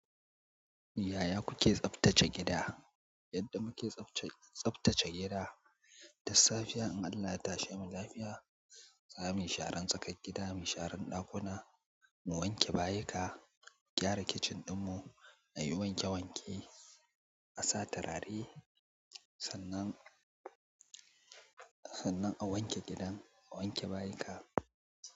Yaya kuke tsaftace gida? Yadda muke tsafce tsaftace gida, da safiya in Allah ya tashe mu lafiya, za mu yi sharan tsakar gida, mu share ɗakuna, mu wanke bayika, mu gyara kicin ɗinmu, mu yi wanke wanke, a sa turare, sannan a wanke gidan, a wanke bayika.